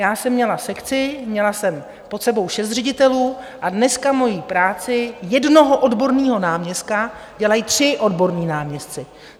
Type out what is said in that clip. Já jsem měla sekci, měla jsem pod sebou šest ředitelů, a dneska moji práci jednoho odborného náměstka dělají tři odborní náměstci.